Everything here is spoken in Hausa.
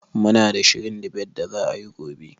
Muna ta shirin dibet da za'a yi gobe.